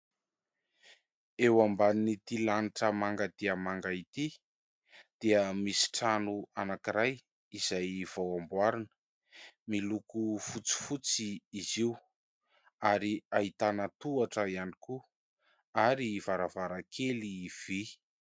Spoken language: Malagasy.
Eo ambanin' ity lanitra manga dia manga ity dia misy trano anankiray izay vao amboarina miloko fotsifotsy izy io ary ahitana tohatra ihany koa ary varavarankely vy.